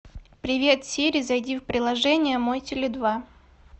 привет сири зайди в приложение мой теле два